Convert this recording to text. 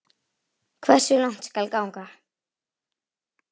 Hversu langt skal ganga?